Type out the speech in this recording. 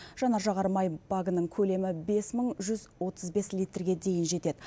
жанар жағармай багының көлемі бес мың жүз отыз бес литрге дейін жетеді